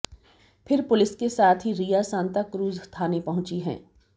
फिर पुलिस के साथ ही रिया सांताक्रूज थाने पहुंची हैं